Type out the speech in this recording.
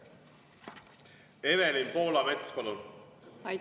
Evelin Poolamets, palun!